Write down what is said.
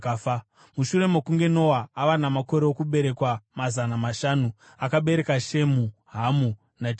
Mushure mokunge Noa ava namakore okuberekwa mazana mashanu, akabereka Shemu, Hamu naJafeti.